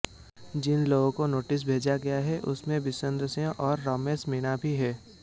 जिन लोगों को नोटिस भेजा गया है उनमें विश्वेन्द्रसिंह और रमेश मीणा भी हैं